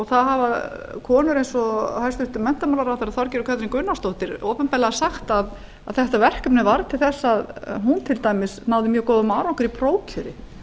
það hafa konur eins og hæstvirtur menntamálaráðherra þorgerður katrín gunnarsdóttir opinberlega sagt að þetta verkefni varð til þess að hún til dæmis náði mjög góðum árangri í prófkjöri þannig